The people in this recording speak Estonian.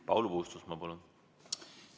Paul Puustusmaa, palun!